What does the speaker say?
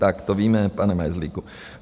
Tak to víme, pane Majzlíku.